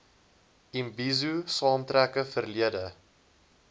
imbizo saamtrekke verlede